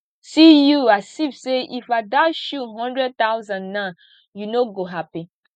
see you as if say if i dash you hundred thousand now you no go happy